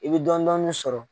I bɛ dɔɔni dɔɔni sɔrɔ.